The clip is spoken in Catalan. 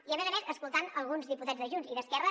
i a més a més escoltant alguns diputats de junts i d’esquerra